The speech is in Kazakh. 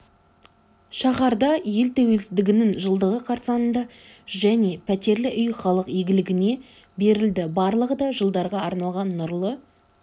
шаһарда ел тәуелсіздігінің жылдығы қарсаңында және пәтерлі үй халық игілігіне берілді барлығы да жылдарға арналған нұрлы